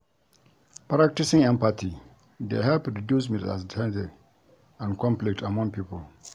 Practicing empathy dey help reduce misunderstanding and conflict among pipo.